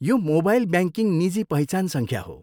यो mobile banking निजी पहिचान सङ्ख्या हो।